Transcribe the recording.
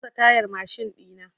Na canza tayar mashin ɗina.